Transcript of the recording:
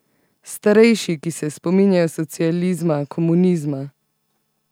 Starejši, ki se spominjajo socializma, komunizma?